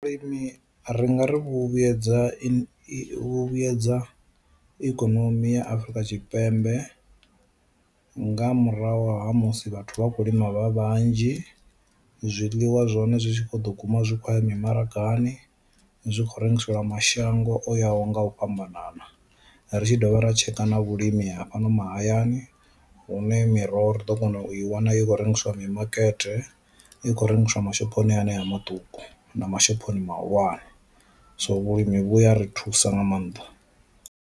Vhulimi ri ngari vhu vhuedza i vhuyedza ikonomi ya Afurika Tshipembe nga murahu ha musi vhathu vha khou lima vha vhanzhi, zwiḽiwa zwa hone zwi tshi kho ḓo guma zwi khoya mi maragani zwi khou rengiselwa mashango o yaho nga u fhambanana. Ri tshi dovha ra tsheka na vhulimi hafhano mahayani hune miroho ri ḓo kona u i wana i khou rengiswa mimakete, i khou rengiswa mashophoni hanea maṱuku na mashophoni mahulwane, so vhulimi vhuya ri thusa nga maanḓa.